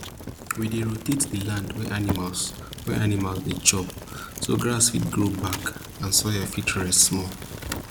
we dey rotate di land wey animals wey animals dey chop so grass fit grow back and soil fit rest small